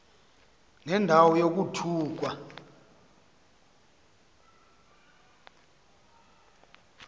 nenda wo yokuthukwa